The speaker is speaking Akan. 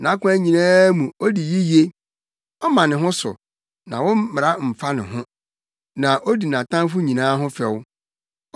Nʼakwan nyinaa mu odi yiye; ɔma ne ho so, na wo mmara mfa no ho; na odi nʼatamfo nyinaa ho fɛw.